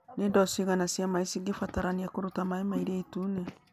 Nĩ ndoo cigana cia maĩ cingĩbatarania kũruta maĩ ma Iria Itune